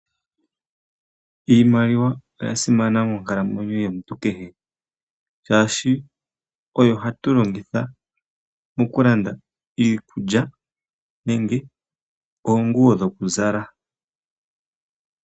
Iimaliwa oya simana monkalamwenyo yomuntu kehe shaashi oyo hatu longitha mokulanda iikulya nenge oonguwo dhokuzala.